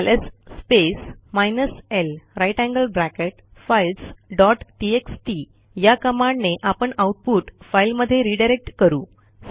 LS space minus L grater than sign files dot TXT या कमांडने आपण output फाईलमध्ये रीडायरेक्ट करू